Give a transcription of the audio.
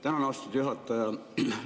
Tänan, austatud juhataja!